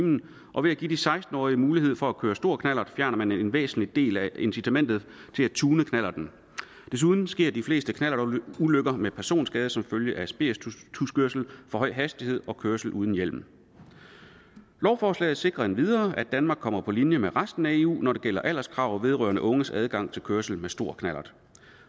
og ved at give de seksten årige mulighed for at køre stor knallert fjerner man en væsentlig del af incitamentet til at tune knallerten desuden sker de fleste knallertulykker med personskade som følge af spirituskørsel for høj hastighed og kørsel uden hjelm lovforslaget sikrer endvidere at danmark kommer på linje med resten af eu når det gælder alderskrav vedrørende unges adgang til kørsel med stor knallert